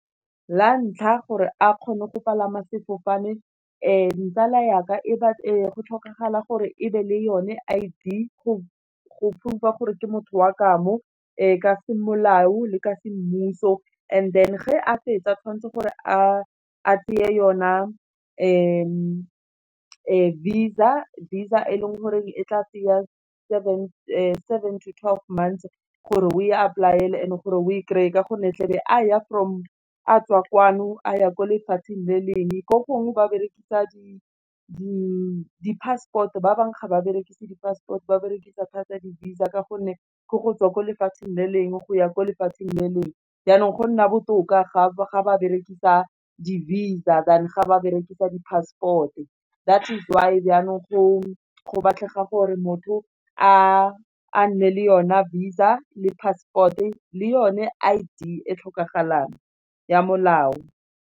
La ntlha gore a kgone go palama sefofane tsala yaaka go tlhokagala gore ebe le yone I_D go proof-a gore ke motho wa kamo ka se molao le ka se mmuso, and then ge a fetsa tshwanetse gore a tseye yone Visa, Visa e leng gore e tla tsaya seven to twelve months gore o e apply e le gore o e kry-e ka gonne tlebe a ya from a tswa kwano, a ya ko lefatsheng le leng, ko gongwe ba berekisa di-passport ba bangwe ga ba berekise di-passport ba berekisa thata di Visa ka gonne ke go tswa ko lefatsheng le leng go ya ko lefatsheng le leng, jaanong go nna botoka ga ba berekisa di-Visa, than ga ba rekisa di-passport-e, that's why jaanong go batlega gore motho a nne le yone Visa le passport-e le yone I_D e tlhokagalang ya molao.